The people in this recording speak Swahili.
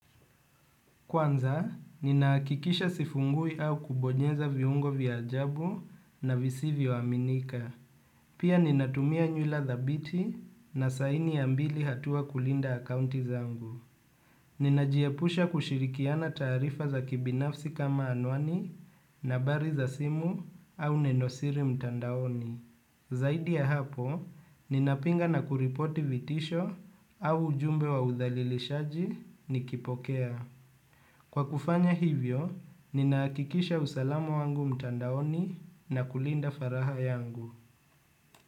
Kwanza, ninahakikisha sifungui au kubonyeza viungo vya ajabu na visivivyoaminika. Pia ninatumia nywila thabiti na saini ya mbili hatua kulinda akounti zangu. Ninajiepusha kushirikiana taarifa za kibinafsi kama anwani nambari za simu au nenosiri mtandaoni. Zaidi ya hapo, ninapinga na kuripoti vitisho au ujumbe wa udhalilishaji nikipokea. Kwa kufanya hivyo, ninahakikisha usalamu wangu mtandaoni na kulinda faragha yangu.